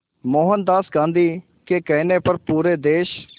मोहनदास गांधी के कहने पर पूरे देश